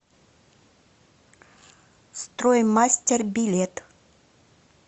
строй мастер билет